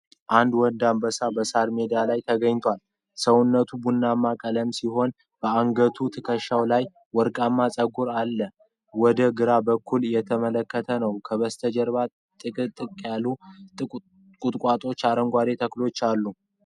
አንድ ወንድ አንበሳ በሳር ሜዳ ላይ ተኝቷል። ሰውነቱ ቡናማ ቀለም ሲሆን አንገቱና ትከሻው ላይ ወርቃማ ፀጉር አለው። ወደ ግራ በኩል እየተመለከተ ነው። ከበስተጀርባ ጥቅጥቅ ያሉ ቁጥቋጦዎችና አረንጓዴ ተክሎች አሉ።